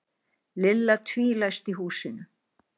Lilla tvílæsti húsinu.